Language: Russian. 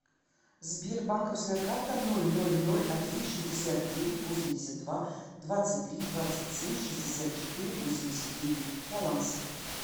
сбер банковская карта ноль ноль ноль один шестьдесят девять восемьдесят два двадцать три двадцать семь шестьдесят четыре восемьдесят девять баланс